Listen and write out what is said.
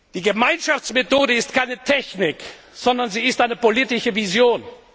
Die Gemeinschaftsmethode ist keine Technik, sondern sie ist eine politische Vision.